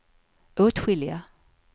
åtskilliga